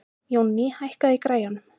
Jónný, hækkaðu í græjunum.